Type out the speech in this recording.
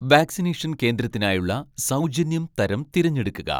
vaccination കേന്ദ്രത്തിനായുള്ള സൗജന്യം തരം തിരഞ്ഞെടുക്കുക